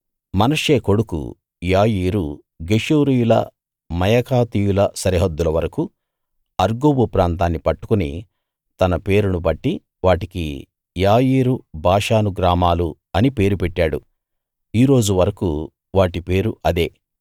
మనష్షే కొడుకు యాయీరు గెషూరీయుల మాయాకాతీయుల సరిహద్దుల వరకూ అర్గోబు ప్రాంతాన్ని పట్టుకుని తన పేరును బట్టి వాటికి యాయీరు బాషాను గ్రామాలు అని పేరు పెట్టాడు ఈ రోజు వరకూ వాటి పేరు అదే